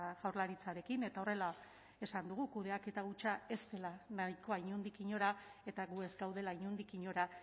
jaurlaritzarekin eta horrela esan dugu kudeaketa hutsa ez dela nahikoa inondik inora eta gu ez gaudela inondik inora